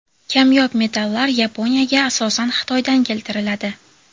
Kamyob metallar Yaponiyaga asosan Xitoydan keltiriladi.